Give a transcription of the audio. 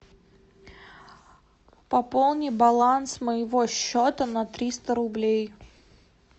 пополни баланс моего счета на триста рублей